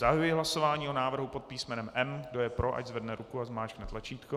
Zahajuji hlasování o návrhu pod písmenem M. Kdo je pro, ať zvedne ruku a zmáčkne tlačítko.